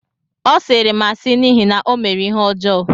Ọ sịịrị m asị n’ihi na ọ mere ihe ọjọọ